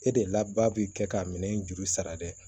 E de laba b'i kɛ ka minɛn in juru sara dɛ